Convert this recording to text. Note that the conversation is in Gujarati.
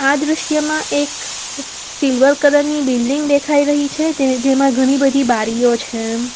આ દ્રશ્યમાં એક સિલ્વર કલર ની બિલ્ડીંગ દેખાઈ રહી છે તે જેમાં ઘણી બધી બારીઓ છે.